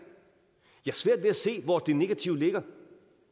jeg har svært ved at se hvor det negative ligger